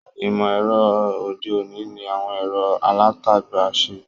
Ìmọ̀-ẹ̀rọ òde-òní ni àwọn ẹ̀rọ alátagbà ń ṣe.